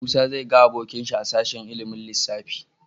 Musa zai ga abokinsa a sashen ilimin lissafi.